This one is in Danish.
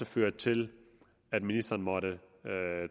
førte til at ministeren måtte